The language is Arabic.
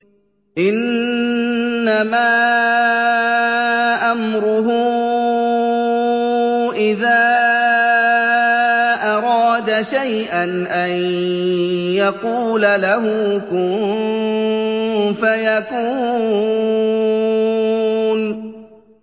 إِنَّمَا أَمْرُهُ إِذَا أَرَادَ شَيْئًا أَن يَقُولَ لَهُ كُن فَيَكُونُ